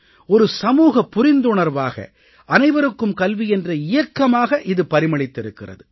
ஒரு சமூக புரிந்துணர்வாக அனைவருக்கும் கல்வி என்ற இயக்கமாக இது பரிமளித்திருக்கிறது